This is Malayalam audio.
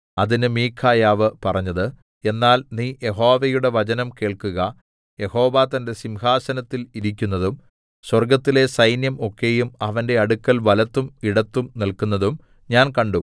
അതിന് മിഖായാവ് പറഞ്ഞത് എന്നാൽ നീ യഹോവയുടെ വചനം കേൾക്കുക യഹോവ തന്റെ സിംഹാസനത്തിൽ ഇരിക്കുന്നതും സ്വർഗ്ഗത്തിലെ സൈന്യം ഒക്കെയും അവന്റെ അടുക്കൽ വലത്തും ഇടത്തും നില്ക്കുന്നതും ഞാൻ കണ്ടു